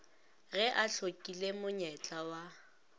ge a hlokile monyetla wa